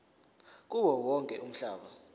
kuwo wonke umhlaba